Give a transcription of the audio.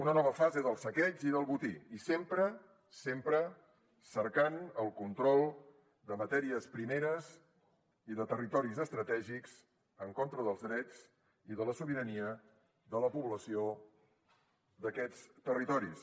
una nova fase del saqueig i del botí i sempre sempre cercant el control de matèries primeres i de territoris estratègics en contra dels drets i de la sobirania de la població d’aquests territoris